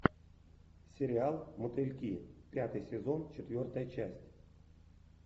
сериал мотыльки пятый сезон четвертая часть